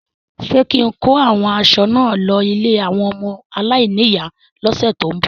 Ṣé kín-in kó àwọn aṣọ náà lọ ilé àwọn ọmọ aláìníyàá lọ́sẹ ti n bọ?